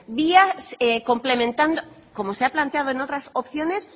vía complementando como se ha planteado en otras opciones